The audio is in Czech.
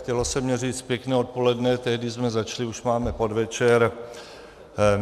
Chtělo se mně říct pěkné odpoledne, tehdy jsme začali, už máme podvečer.